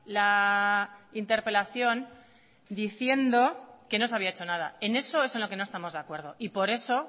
la interpelación diciendo que no se había hecho nada en eso es en lo que no estamos de acuerdo y por eso